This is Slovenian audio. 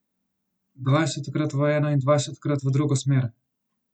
Dvajsetkrat v eno in dvajsetkrat v drugo smer.